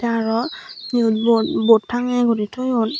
araw yot bot bot tangeye guri toyon.